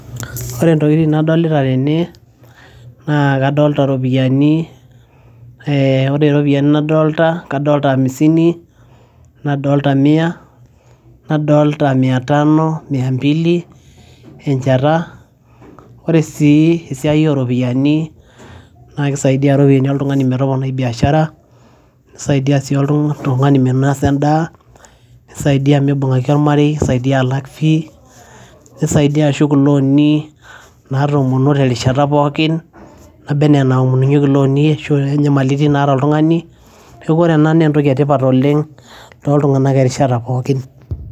Ore ntokitin nadolita tene naa kadolta iropiani, ee ore iropiani nadolta naa kadolta hamisini, nadolta mia, nadolta mia tano , mia mbili, enjata. Oree sii esiai o ropiani naake isaidia iropiani oltung'ani metoponai biashara, nisaidia sii oltung'ani minosa endaa, nisaidia mibung'aki ormarei, nisaidia alak fee, nisaidia alak ilooni natoomonuo terishata pookin naba enaa enaomonunyeki looni ashu nyamalitin naata oltung'ani. Neeku ore ena naa entoki e tipat oleng' toltung'anak erishata pookin.